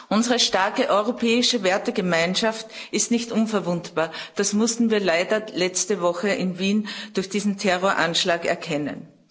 Unsere starke europäische Wertegemeinschaft ist nicht unverwundbar, das mussten wir leider letzte Woche in Wien durch diesen Terroranschlag erkennen.